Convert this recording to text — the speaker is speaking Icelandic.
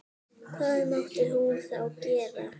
Hvað mátti hún þá gera?